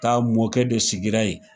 mɔkɛ de sigira yen